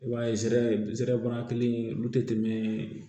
I b'a ye zereban kelen olu tɛ tɛmɛ